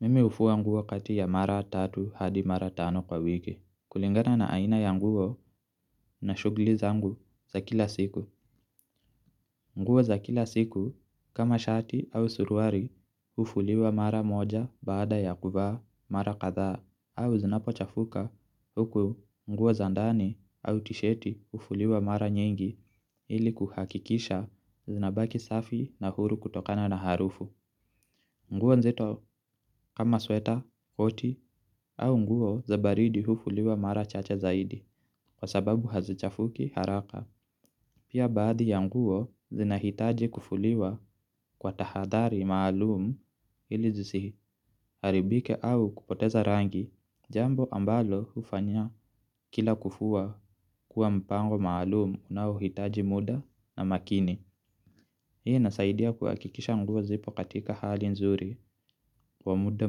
Mimi hufua nguo kati ya mara tatu hadi mara tano kwa wiki. Kulingana na aina ya nguo na shughuli zangu za kila siku. Nguo za kila siku kama shati au suruali hufuliwa mara moja baada ya kuvaa mara kadhaa au zinapo chafuka huku nguo za ndani au tisheti hufuliwa mara nyingi ili kuhakikisha zinabaki safi na huru kutokana na harufu. Nguo nzito kama sweater koti au nguo za baridi hufuliwa mara chache zaidi kwa sababu hazichafuki zaidi. Pia baadhi ya nguo zinahitaji kufuliwa kwa tahadhari maalumu ili zisiharibike au kupoteza rangi jambo ambalo hufanya kila kufua kuwa mpango maalumu unaohitaji muda na makini. Hii nasaidia kuhakikisha nguo zipo katika hali nzuri kwa muda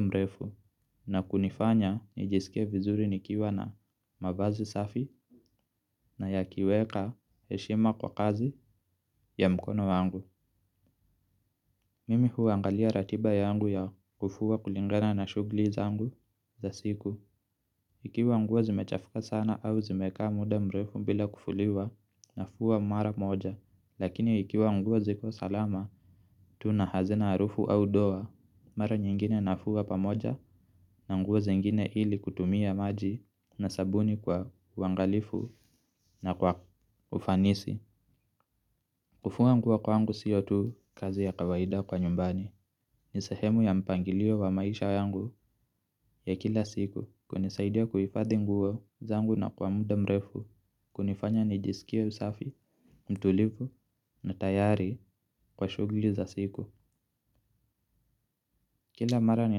mrefu na kunifanya nijisikia vizuri nikiwa na mavazi safi na ya kiweka heshima kwa kazi ya mkono wangu. Mimi huangalia ratiba yangu ya kufuwa kulingana na shughuli zangu za siku. Ikiwa nguo zimechafuka sana au zimekaa muda mrefu bila kufuliwa na fua mara moja. Lakini ikiwa nguo ziko salama, tuna hazina na harufu au doa. Mara nyingine nafua pamoja na nguo zingine ili kutumia maji na sabuni kwa uangalifu na kwa ufanisi. Kufua nguo kwangu siyo tu kazi ya kawaida kwa nyumbani. Ni sshemu ya mpangilio wa maisha yangu ya kila siku. Kunisaidia kuhifadhi nguo zangu na kwa muda mrefu. Kunifanya nijisikia msafi, mtulivu na tayari kwa shugguli za siku. Kila mara ni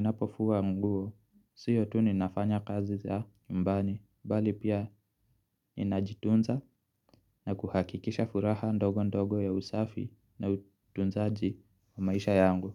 napofua nguo, siyo tu ninafanya kazi za nyumbani bali pia ninajitunza na kuhakikisha furaha ndogo ndogo ya usafi na utunzaji wa maisha yangu.